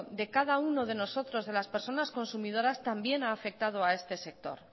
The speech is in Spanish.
de cada uno de nosotros de las personas consumidoras también ha afectado a este sector